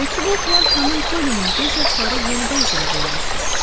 Məktubu oxuyan xanım Polinin göz yaşları yenidən selə dönmüşdü.